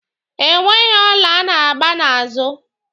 E nweghi ọla a na-agba n'azụ.